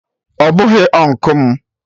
Ọ bụghị Ụnkụ m